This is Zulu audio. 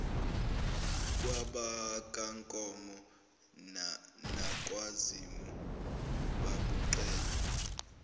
kwabakankomo nakwazimu babuqale